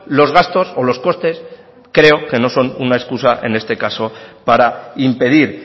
los gastos o los costes creo que no son una excusa en este caso para impedir